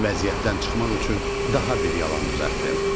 Vəziyyətdən çıxmaq üçün daha bir yalan düzəltdim.